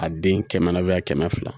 A den kɛmɛ na a kɛmɛ fila